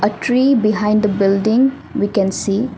A tree behind the building we can see.